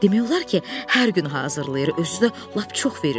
Demək olar ki, hər gün hazırlayır, özü də lap çox verir.